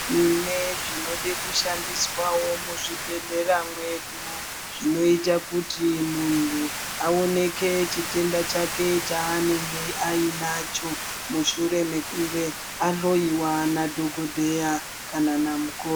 Tine zvinode kushandiswawo muzvibhedhlera medu zvinoita kuti muntu aonekwe chitenda chake chaanenge anacho mushure mekunge ahloiwa nadhokodheya kana namukoti.